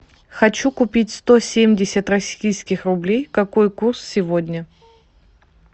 хочу купить сто семьдесят российских рублей какой курс сегодня